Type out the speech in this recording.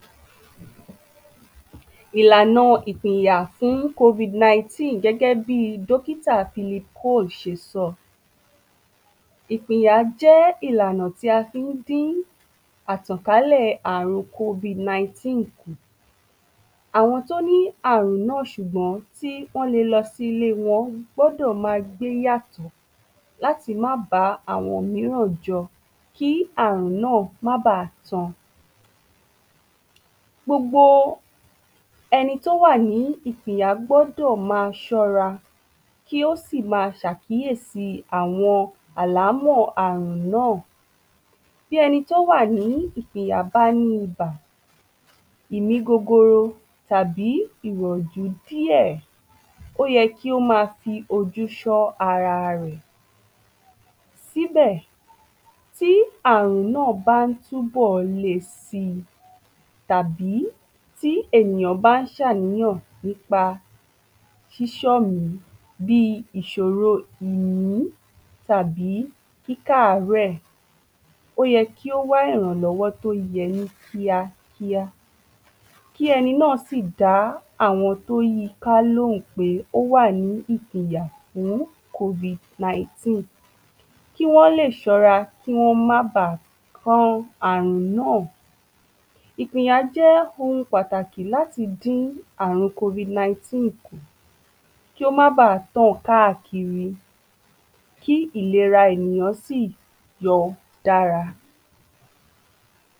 ﻿Ìlàna ìpìnyà fún Covid-19 gẹ́gẹ́ bí dókítà Philip Cole ṣe sọ. ìpìnyà jẹ́ ìlànà tí a fí n dín àrùn Covid-19 kù. Àwọn tí ó ní àrùn nà sùgbọ́n tí wọ́n le lọ sí ilẹ́ wọn gbọ́dọ̀ ma gbe yàtò, láti má bá àwọn míràn jọ, kí àrùn nà má ba tàn. Gbogbo ẹni tí ó wà ní ìpìnyà gbọ́dò ma ṣọ́ra, kí ó sì ma ṣàkíyèsí àwọn àlámọ̀ àrùn náà. Bí ẹni tí ó wà ni ìpìnyà bá ní ibà, ìmí gogoro tàbí ìyàjú díè, ó yẹ kí ó ma fi ojú ṣọ́ ararẹ̀, síbẹ̀, tí àrùn nà bá n túnbọ̀ lẹsi tàbí tí ènìyàn bá n ṣàníyàn nípa ṣíṣọ̀mí bí ìṣòrò ìlú, tàbí kíkàárẹ̀, ó yẹ kí ó wá ìrànlọ́wọ́ tí ó yẹ ní kíá kíá, kí ẹni nà sí dá àwọn tí ó yiká lóhùn pé ó wà ní ìpinyà fún Covid-19 kí wọ́n lè sọ́ra kí wọ́n má bà kó àrùn nà. Ìpìnyà jẹ́ ohun pàtàkì láti dín àrùn Covid-19 kù kí ó má bá tàn káàkiri, kí ìlera ènìyàn sí yọ dára.